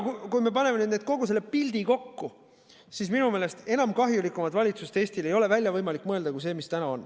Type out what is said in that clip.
Kui me paneme kogu pildi kokku, siis minu meelest enam kahjulikumat valitsust ei ole võimalik välja mõelda, kui see, mis täna on.